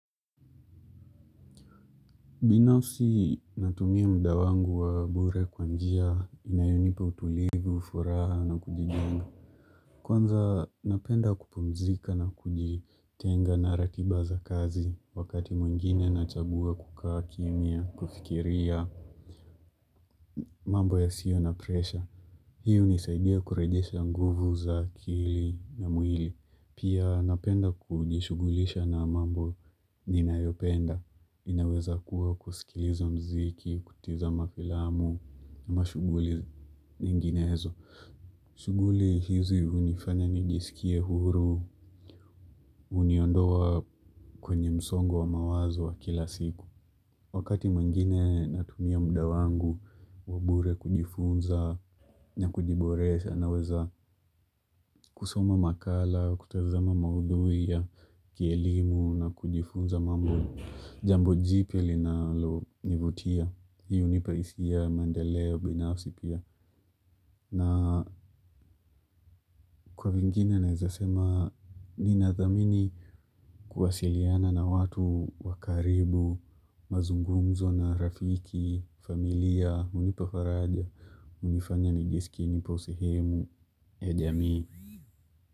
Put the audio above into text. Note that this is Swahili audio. Binafsi natumia muda wangu wa bure kwa njia inayonipa utulivu, furaha na kujijenga. Kwanza napenda kupumzika na kujitenga na ratiba za kazi. Wakati mwingine nachagua kukaa kimya, kufikiria mambo yasiyo na presha. Hii hunisaidia kurejesha nguvu za akili na mwili. Pia napenda kujishughulisha na mambo ninayopenda. Inaweza kuwa kusikiliza muziki, kucheza mafilamu na mashughuli nyinginezo. Shughuli hizi hunifanya nijisikie huru, huniondoa kwenye msongo wa mawazo wa kila siku. Wakati mwingine natumia muda wangu, wa bure kujifunza na kukiboresha naweza kusoma makala, kutazama maudhui ya, kielimu na kujifunza mambo, jambo jipi linalonivutia. Hii hunipa hisia ya mandeleo binafsi pia. Na kwa mengine naweza sema. Ninathamini kuwasiliana na watu wa karibu. Mazungumzo na rafiki, familia, hunipa faraja, hunifanya nijisikie nipo sehemu ya jamii.